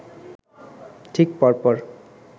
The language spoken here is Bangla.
ঠিক পর পর